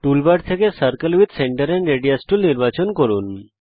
toolbar থেকে circle with centre and radius tool নির্বাচন করুন